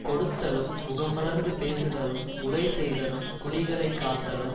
கொடுத்தலும் முகமலர்ந்து பேசுதலும் முறைசெய்தலும் குடிகளைக் காத்தலும்